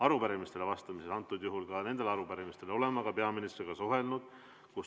Arupärimistele vastamisega, ka arupärimistele vastamisega seoses olen ma peaministriga suhelnud.